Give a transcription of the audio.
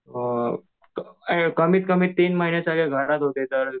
अ कमीत कमी तीन महिने तरी घरात होते सर्व